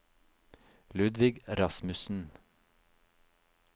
Ludvig Rasmussen